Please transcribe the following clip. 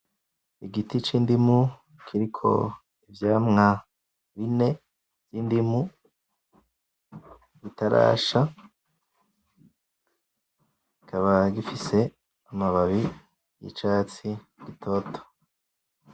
Igiti c'indimu kiriko ivyamwa bine vy'indimu bitarasha bikaba bifise amababi y'icatsi gitoto.